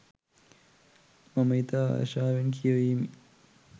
මම ඉතා ආශාවෙන් කියවීමි.